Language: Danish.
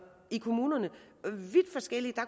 i kommunerne